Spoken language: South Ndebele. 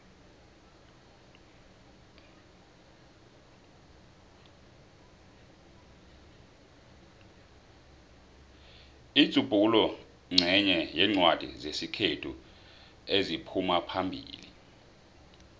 inzubhula nqenye yencwadi zesikhethu eziphumaphambili